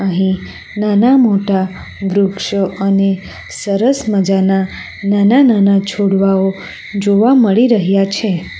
અહીં નાના મોટા વૃક્ષો અને સરસ મજાના નાના નાના છોડવાઓ જોવા મળી રહ્યા છે.